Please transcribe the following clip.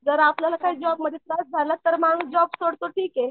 जर आपल्याला जॉबमध्ये काही त्रास झाला तर माणूस जॉब सोडतो ठीक आहे.